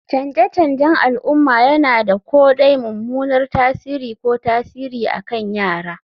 Canje-canjen al'umma yana da ko dai mummunan tasiri ko tasiri akan yara